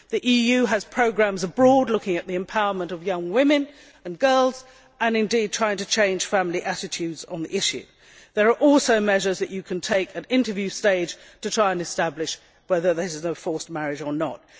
The EU has programmes in third countries looking at the empowerment of young women and girls and indeed trying to change family attitudes on the issue. There are also measures that you can take at interview stage to try to establish whether it is a forced marriage or not.